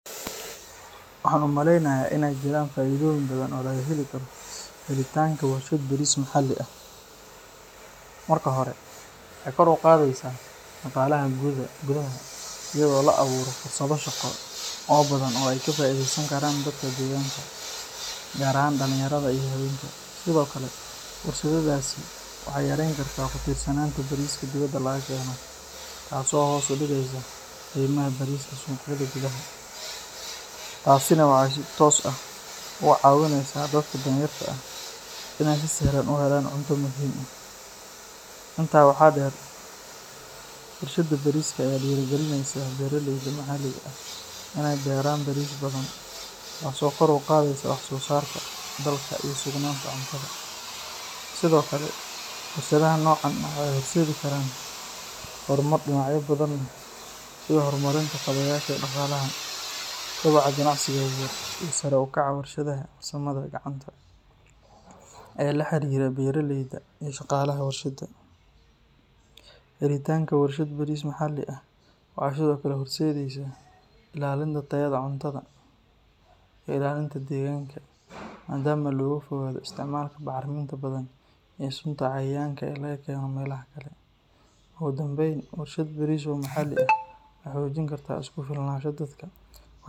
Waxaan u maleynayaa in ay jiraan faa’iidooyin badan oo laga heli karo helitaanka warshad bariis maxalli ah. Marka hore, waxay kor u qaadaysaa dhaqaalaha gudaha iyadoo la abuuro fursado shaqo oo badan oo ay ka faa’iideysan karaan dadka deegaanka, gaar ahaan dhalinyarada iyo haweenka. Sidoo kale, warshaddaasi waxay yareyn kartaa ku tiirsanaanta bariiska dibadda laga keeno, taas oo hoos u dhigeysa qiimaha bariiska suuqyada gudaha, taasina waxay si toos ah u caawineysaa dadka danyarta ah inay si sahlan u helaan cunto muhiim ah. Intaa waxaa dheer, warshadda bariiska ayaa dhiirrigelineysa beeraleyda maxalliga ah inay beeraan bariis badan, taasoo kor u qaadaysa wax-soosaarka dalka iyo sugnaanta cuntada. Sidoo kale, warshadaha noocan ah waxay horseedi karaan horumar dhinacyo badan leh sida horumarinta kaabayaasha dhaqaalaha, kobaca ganacsiga yaryar iyo sare u kaca waxbarashada farsamada gacanta ee la xiriira beeraleyda iyo shaqaalaha warshadda. Helitaanka warshad bariis maxalli ah waxay sidoo kale horseedeysaa ilaalinta tayada cuntada iyo ilaalinta deegaanka maadaama laga fogaado isticmaalka bacriminta badan iyo sunta cayayaanka ee laga keeno meelaha kale. Ugu dambeyn, warshad bariis oo maxalli ah waxay xoojin kartaa isku filnaanshaha dalka.